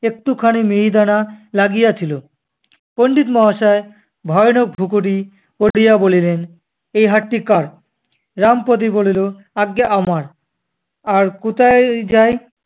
একটুখানি মিহিদানা লাগিয়াছিল। পণ্ডিত মহাশয় ভয়ানক ভ্রুকুটি করিয়া বলিলেন, এ হাঁড়িটি কার? রামপদো বলিল, আজ্ঞে আমার। আর কুতায় যায়!